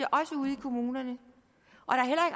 kommunerne